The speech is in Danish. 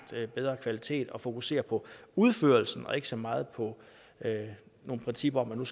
bedre kvalitet man fokusere på udførelsen og ikke så meget på nogle principper om